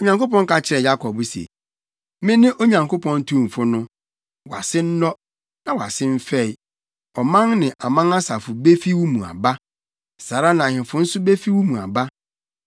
Onyankopɔn ka kyerɛɛ Yakob se, “Mene Onyankopɔn tumfo no. Wʼase nnɔ, na wʼase mfɛe. Ɔman ne aman asafo befi wo mu aba. Saa ara na ahemfo nso befi wo mu aba.